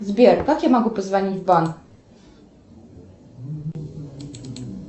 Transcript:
сбер как я могу позвонить в банк